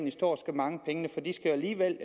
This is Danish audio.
at stå og mangle pengene for de skal alligevel